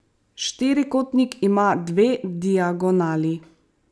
Štirikotnik ima dve diagonali.